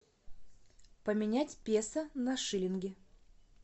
поменять песо на шиллинги